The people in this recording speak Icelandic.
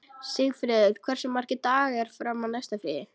Sigfreður, hversu margir dagar fram að næsta fríi?